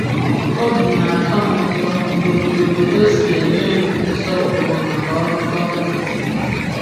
Obi na-atọ m ụtọ n’otú obodo si enye m nsọpụrụ maka ọrụ gọọmentị m.